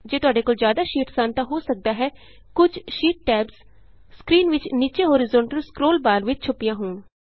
ਜੇ ਤੁਹਾਡੇ ਕੋਲ ਜ਼ਿਆਦਾ ਸ਼ੀਟਸ ਹਨ ਤਾਂ ਹੋ ਸਕਦਾ ਹੈ ਕੁਝ ਸ਼ੀਟ ਟੈਬਸ ਸਕਰੀਨ ਵਿਚ ਨੀਚੇ ਹੋਰੀਜੈਂਟਲ ਸਕਰੋਲ ਬਾਰ ਵਿਚ ਛੁਪੀਆਂ ਹੋਣ